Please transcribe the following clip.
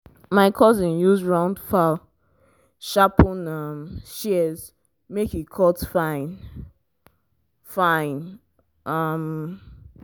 my cousin use round file sharpen um shears make e cut fine-fine. um